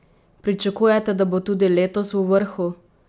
Pričakujete, da bo tudi letos v vrhu?